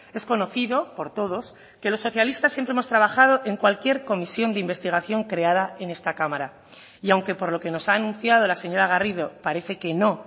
es conocido por todos que los socialistas siempre hemos trabajado en cualquier comisión de investigación creada en esta cámara y aunque por lo que nos ha anunciado la señora garrido parece que no